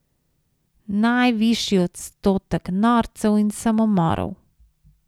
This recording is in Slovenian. Najvišji odstotek norcev in samomorov.